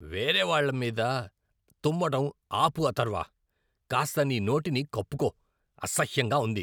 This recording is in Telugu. వేరేవాళ్ళ మీద తుమ్మడం ఆపు అథర్వ. కాస్త నీ నోటిని కప్పుకో. అసహ్యంగా ఉంది.